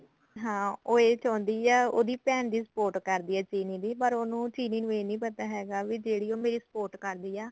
ਹਾਂ ਉਹ ਇਹ ਚਾਉਂਦੀ ਐ ਉਹਦੀ ਭੈਣ ਦੀ support ਕਰ ਰਹੀ ਐ ਚਿਰੀ ਦੀ ਪਰ ਉਹਨੂੰ ਚਿਰੀ ਨੂੰ ਇਹ ਨੀ ਪਤਾ ਹੈਗਾ ਵੀ ਜਿਹੜੀ ਉਹ ਮੇਰੀ support ਕਰ ਰਹੀ ਆ